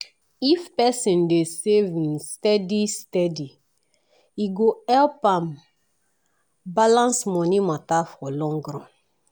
if person dey save hin steady steady e go help am balance money matter for long run.